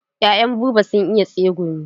Ya'yan Buba sun iya tsegumi.